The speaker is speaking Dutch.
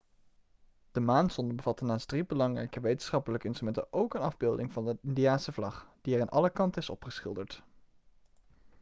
de maansonde bevatte naast drie belangrijke wetenschappelijke instrumenten ook een afbeelding van de indiase vlag die er aan alle kanten is opgeschilderd